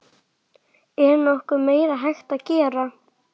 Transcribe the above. Er nokkuð meira hægt að gera?